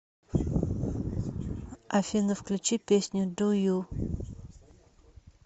афина включи песню ду ю